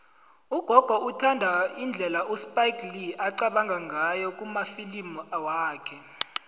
ugogo uthanda indlela uspike lee aqabanga ngayo kumafilimu wakhe